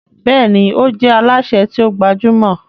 Béèni o jé Alásè ti o gbajúmò.